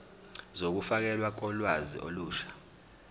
zokufakelwa kolwazi olusha